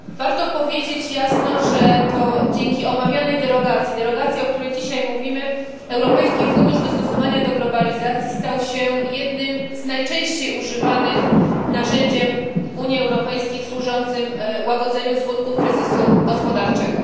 Warto powiedzieć jasno, że to dzięki omawianej derogacji derogacji, o której dzisiaj mówimy Europejski Fundusz Dostosowania do Globalizacji stał się jednym z najczęściej używanych narzędzi Unii Europejskiej służących łagodzeniu skutków kryzysu gospodarczego.